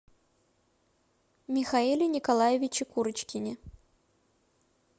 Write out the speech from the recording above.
михаиле николаевиче курочкине